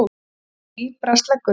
Í því brast leggurinn.